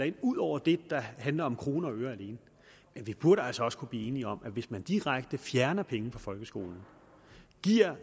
ind ud over det der handler om kroner og øre alene men vi burde altså også kunne blive enige om at hvis man direkte fjerner penge fra folkeskolen og giver